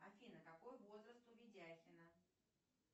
афина какой возраст у видяхина